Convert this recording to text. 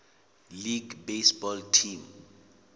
league baseball team